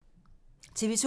TV 2